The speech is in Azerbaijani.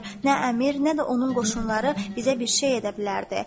Nə əmir, nə də onun qoşunları bizə bir şey edə bilərdi.